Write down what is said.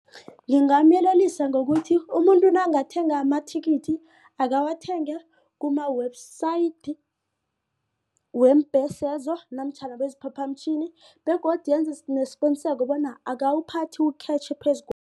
Ngingamyelelisa ngokuthi umuntu nangathenga amathikithi akawathenge kuma-website weembhesezo namtjhana weemphaphamtjhini begodu enze nesiqiniseko bona akawuphathi ukhetjhi